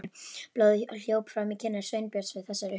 Blóðið hljóp fram í kinnar Sveinbjörns við þessar upp